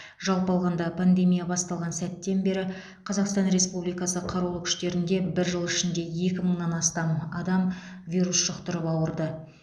жалпы алғанда пандемия басталған сәттен бері қазақстан республикасы қарулы күштерінде бір жыл ішінде екі мыңнан астам адам вирус жұқтырып ауырды